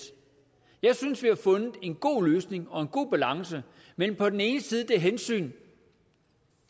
jeg synes vi har fundet en god løsning og en god balance mellem på den ene side det hensyn